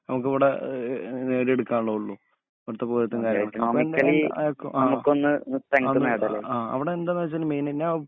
നമുക്കിവിടെ ആഹ് നേടിയെടുക്കാനുള്ളതുള്ളൂ അവിടുത്തെ പോലെ തന്നെ ആഹ് അവടെ എന്താണെന്നുവെച്ചാല് മെയിൻ നാ